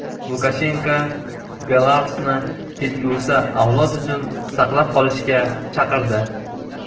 Lukashenko Belarusni kelgusi avlod uchun saqlab qolishga chaqirdi.